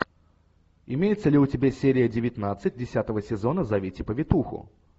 имеется ли у тебя серия девятнадцать десятого сезона зовите повитуху